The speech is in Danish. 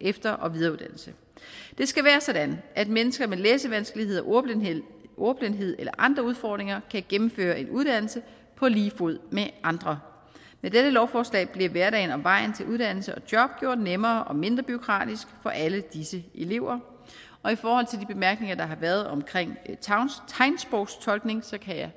efter og videreuddannelse det skal være sådan at mennesker med læsevanskeligheder ordblindhed ordblindhed eller andre udfordringer kan gennemføre en uddannelse på lige fod med andre med dette lovforslag bliver hverdagen og vejen til uddannelse og job gjort nemmere og mindre bureaukratisk for alle disse elever og i forhold til de bemærkninger der har været omkring tegnsprogstolkning kan jeg